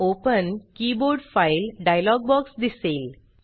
open keyboard file dialog box दिसेल